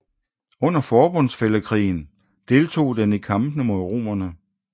Under forbundsfællekrigen deltog den i kampen mod romerne